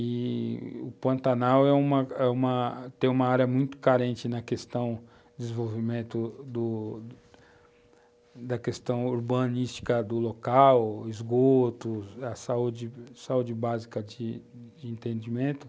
i-i o Pantanal é uma uma, tem uma área muito carente na questão de desenvolvimento do da questão urbanística do local, esgoto, saúde, saúde, básica de entendimento.